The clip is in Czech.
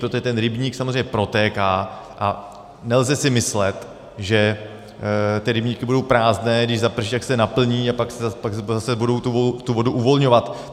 Protože ten rybník samozřejmě protéká a nelze si myslet, že ty rybníky budou prázdné, když zaprší, tak se naplní a pak zase budou tu vodu uvolňovat.